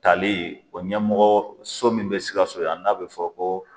Tali o ɲɛmɔgɔ so min bɛ sikaso yan n'a bɛ fɔ ko.